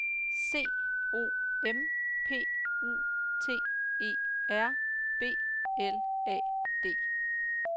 C O M P U T E R B L A D